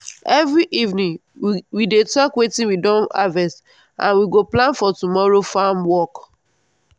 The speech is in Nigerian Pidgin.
every evening we dey talk watin we don harvest and we go plan for tomorrow farm work.